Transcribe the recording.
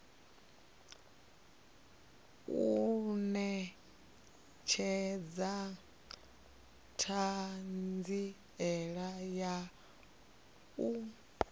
u netshedza thanziela ya u